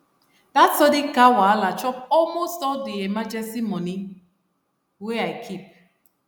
that sudden car wahala chop almost all the emergency money wey i keep